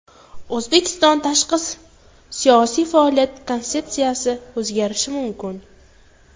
O‘zbekiston tashqi siyosiy faoliyat konsepsiyasi o‘zgarishi mumkin.